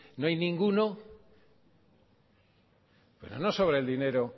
no hay ninguno pero no sobra el dinero